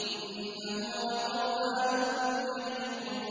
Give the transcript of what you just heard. إِنَّهُ لَقُرْآنٌ كَرِيمٌ